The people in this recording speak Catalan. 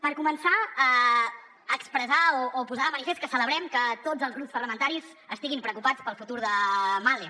per començar expressar o posar de manifest que celebrem que tots els grups parlamentaris estiguin preocupats pel futur de mahle